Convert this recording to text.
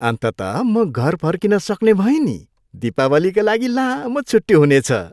अन्ततः म घर फर्किन सक्ने भएँ नि। दीपावलीका लागि लामो छुट्टी हुनेछ।